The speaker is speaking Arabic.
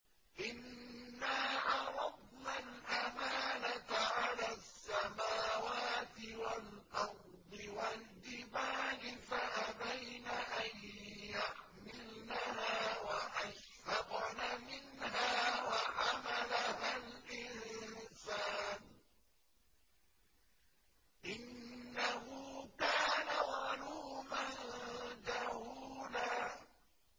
إِنَّا عَرَضْنَا الْأَمَانَةَ عَلَى السَّمَاوَاتِ وَالْأَرْضِ وَالْجِبَالِ فَأَبَيْنَ أَن يَحْمِلْنَهَا وَأَشْفَقْنَ مِنْهَا وَحَمَلَهَا الْإِنسَانُ ۖ إِنَّهُ كَانَ ظَلُومًا جَهُولًا